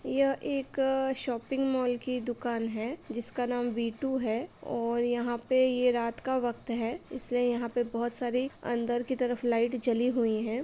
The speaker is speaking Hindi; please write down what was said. यह एक शॉपिंग मॉल की दुकान है। जिसका नाम वी.टू है और यहाँ पे (पर) ये रात का वक्त है इसलिए यहाँ पे (पर) बहुत सारी अंदर की तरफ लाइट जली हुई है।